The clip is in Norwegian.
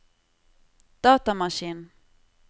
datamaskin